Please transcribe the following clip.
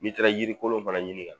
N'i taara jiri kolon fana ɲini ka na!